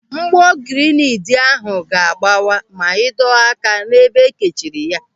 Mgbọ girineedi ahụ ga-agbawa ma ịdọ aka n'ebe ekechiri ya.